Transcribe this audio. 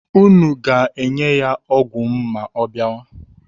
Unu ga-enye ya ọgwụ m ma ọ bịawa?